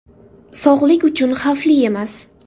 Sog‘liq uchun xavfli emas.